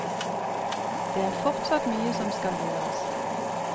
Det er fortsatt mye som skal gjøres.